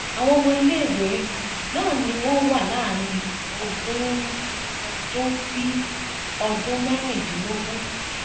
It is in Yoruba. àwọn ọmọ iléèwé um náà ni wọn wà láàrin ogún um ọdún sí ọdún mẹrìndínlógún